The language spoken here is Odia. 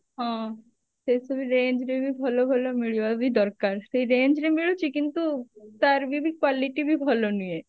ହଁ ସେଇ ସବୁ range ରେ ବି ଭଲ ଭଲ ମିଳିବା ବ୍ବି ଦରକାର ସେଇ range ରେ ମିଳୁଛି କିନ୍ତୁ ତାର ବି quality ବି ଭଲ ନୁହେଁ